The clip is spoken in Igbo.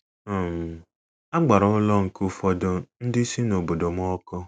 um A gbara ụlọ nke ụfọdụ ndị si n’obodo m ọkụ.